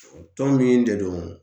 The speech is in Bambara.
Tɔn min de don